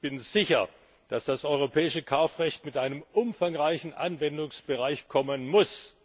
Ich bin mir nämlich sicher, dass das europäische Kaufrecht mit einem umfangreichen Anwendungsbereich kommen muss!